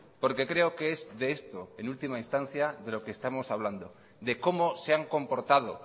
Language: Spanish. porque creo que es de esto en última instancia de lo que estamos hablando de cómo se han comportado